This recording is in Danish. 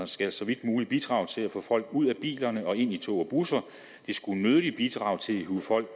skal så vidt muligt bidrage til at få folk ud af bilerne og ind i tog og busser de skulle nødigt bidrage til at hive folk